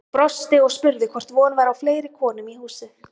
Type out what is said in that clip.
Hún brosti og spurði hvort von væri á fleiri konum í húsið.